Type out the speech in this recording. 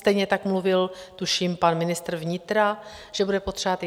Stejně tak mluvil tuším pan ministr vnitra, že bude potřebovat.